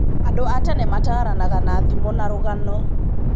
Andũ a tene mataranaga na thimo na rugano.